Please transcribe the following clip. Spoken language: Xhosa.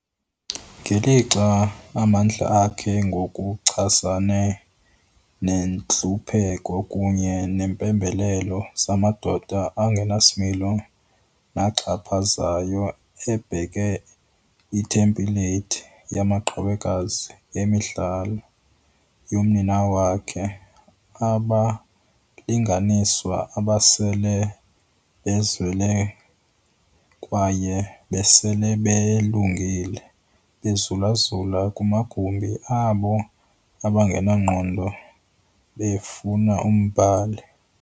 Ngelixa amandla akhe ngokuchasene nentlupheko kunye neempembelelo zamadoda angenasimilo naxhaphazayo ebeka ithempleyithi yamaqhawekazi emidlalo yomninawa wakhe- 'Abalinganiswa abasele bezelwe kwaye besele belungile, bezulazula kumagumbi abo angenangqondo befuna umbhali.